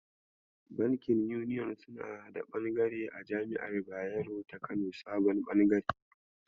Bankin Union Bank suna da bangare a Jami'ar Bayero ta Kano sabon bangare.